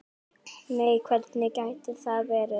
Nei hvernig gæti það verið?